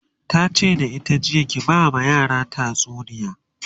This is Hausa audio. tace da ita jiya "ki ba ma yaran tatsuniya!"